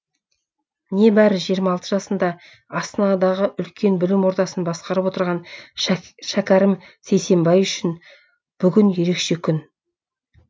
небәрі жиырма алты жасында астанадағы үлкен білім ордасын басқарып отырған шәкәрім сейсенбай үшін бүгін ерекше күн